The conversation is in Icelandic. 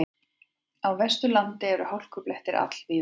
Á Vesturlandi eru hálkublettir all víða